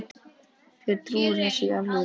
Hver trúir þessu í alvöru?